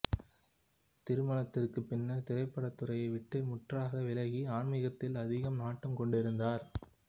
திருமணத்தின் பின்னர் திரைப்படத் துறையை விட்டு முற்றாக விலகி ஆன்மீகத்தில் அதிக நாட்டம் கொண்டிருந்தார்